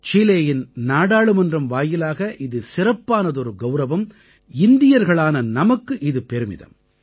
சீலேயின் நாடாளுமன்றம் வாயிலாக இது சிறப்பானதொரு கௌரவம் இந்தியர்களான நமக்கு இது பெருமிதம்